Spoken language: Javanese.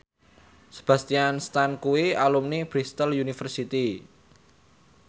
Sebastian Stan kuwi alumni Bristol university